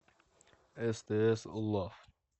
стс лав